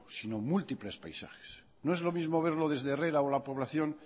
sino múltiples paisajes no es lo mismo verlo desde herrera o la población